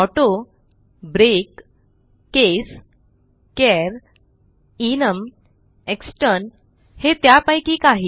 auto break case char enum extern हे त्यापैकी काही